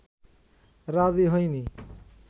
রাজি হয়নি